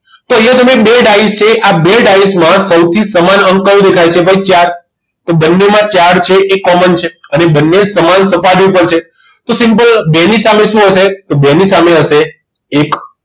તો અહીંયા તમે બે ડાયીશ છે આ બે ડાયીશ માં સૌથી સમાન અંક કયો દેખાય છે ભાઈ ચાર તો બંનેમાં ચાર છે એ common છે અને બંને સમાન સપાટી પર છે તો simple બે ની સામે શું હશે. બે ની સામે હશે એક